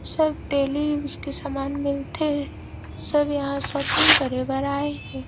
सब daily उसके के सामान मिलथे सब यहाँ शॉपिंग करे बर आए हे ।